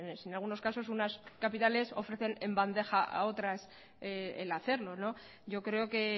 en algunos casos unas capitales ofrecen en bandeja a otras el hacerlo yo creo que